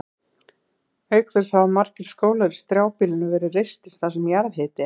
Auk þess hafa margir skólar í strjálbýlinu verið reistir þar sem jarðhiti er.